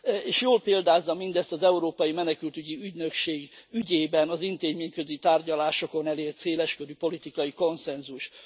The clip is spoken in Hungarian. És jól példázza mindezt az Európai Menekültügyi Ügynökség ügyében az intézményközi tárgyalásokon elért széles körű politikai konszenzus.